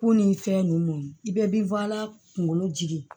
Ko ni fɛn ninnu i bɛɛ bɛ kunkolo jigi